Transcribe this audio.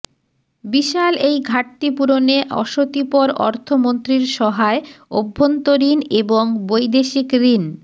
বিশাল এই ঘাটতি পূরণে অশতিপর অর্থমন্ত্রীর সহায় অভ্যন্তরীণ এবং বৈদেশিক ঋণ